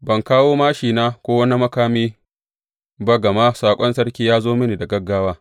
Ban kawo māshina ko wani makami ba gama saƙon sarki ya zo mini da gaggawa.